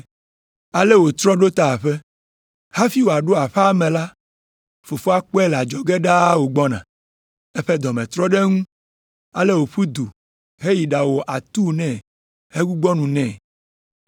“Ale wòtrɔ ɖo ta aƒe. Hafi wòaɖo aƒea me la, fofoa kpɔe le adzɔge ɖaa wògbɔna.” Eƒe dɔ me trɔ ɖe eŋu ale wòƒu du heyi ɖawɔ atuu nɛ hegbugbɔ nu nɛ.